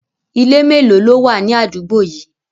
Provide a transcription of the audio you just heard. Ilé melo ló wà ní àdúgbò yìí?